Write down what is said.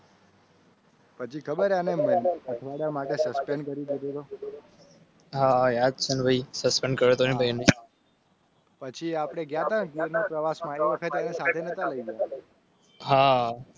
પછી ખબરહા યાદપછી આપણેહા